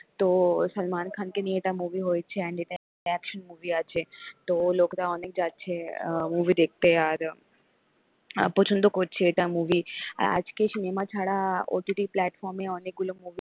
তো salman khan কে নিয়ে এটা movie হয়েছে and এটা action movie আছে তো লোকটা অনেক যাচ্ছে movie দেখতে আর অ পছন্দ করছে এটা movie আজকের সিনেমা ছাড়া ott platform এ অনেকগুলো movie